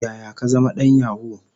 Yaya ka zama dan yahoo?